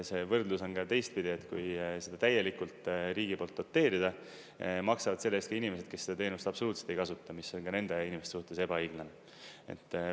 See võrdlus on ka teistpidi, et kui seda täielikult riigi poolt doteerida, maksavad selle eest ka inimesed, kes seda teenust absoluutselt ei kasuta, mis on ka nende inimeste suhtes ebaõiglane.